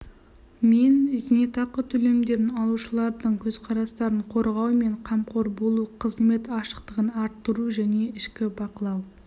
мен зейнетақы төлемдерін алушылардың көзқарастарын қорғау мен қамқор болу қызмет ашықтығын арттыру және ішкі бақылау